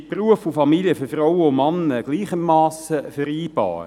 Sind Beruf und Familie für Frauen und Männer gleichermassen vereinbar?